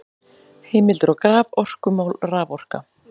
Heimildir og graf: Orkumál- Raforka.